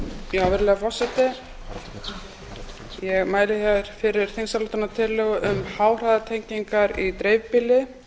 virðulegur forseti ég mæli hér fyrir þingsályktunartillögu um háhraðanettengingar í dreifbýli